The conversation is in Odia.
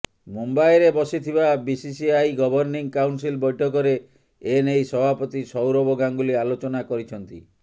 ମୁମ୍ବାଇରେ ବସିଥିବା ବିସିସିଆଇ ଗଭର୍ଣ୍ଣିଂ କାଉନସିଲ ବୈଠକରେ ଏନେଇ ସଭାପତି ସୌରଭ ଗାଙ୍ଗୁଲି ଆଲୋଚନା କରିଛନ୍ତି